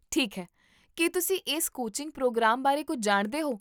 ਠੀਕ ਹੈ, ਕੀ ਤੁਸੀਂ ਇਸ ਕੋਚਿੰਗ ਪ੍ਰੋਗਰਾਮ ਬਾਰੇ ਕੁੱਝ ਜਾਣਦੇ ਹੋ?